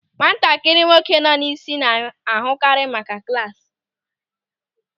Nwatakịrị nwoke nọ n'isi na-ahụkarị maka klasị.